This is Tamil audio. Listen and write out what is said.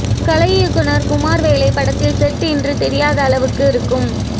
கலை இயக்குனர் குமார் வேலை படத்தில் செட் என்று தெரியாத அளவுக்கு இருக்கும்